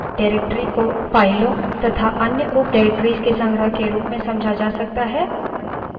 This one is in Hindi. directory को फाइलों तथा अन्य उपdirectories के संग्रह के रूप में समझा जा सकता है